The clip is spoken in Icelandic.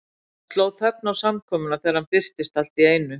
Það sló þögn á samkomuna þegar hann birtist allt í einu.